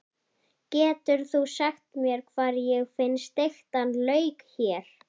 Getur þú sagt mér hvar ég finn steiktan lauk hér?